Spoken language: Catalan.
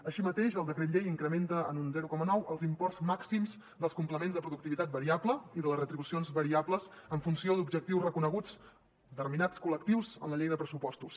així mateix el decret llei incrementa en un zero coma nou els imports màxims dels complements de productivitat variable i de les retribucions variables en funció d’objectius reconeguts a determinats col·lectius en la llei de pressupostos